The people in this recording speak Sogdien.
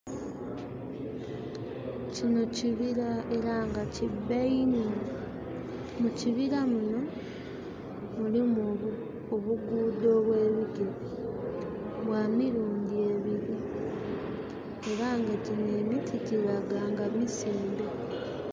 Kino kibira era nga kibba inho. Mu kibira muno mulimu obugudho obw'ebigere bwa mirundhi ebili. Era nga gyino emiti giraga nga misimbe.